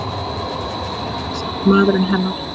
Eða réttara sagt maðurinn hennar.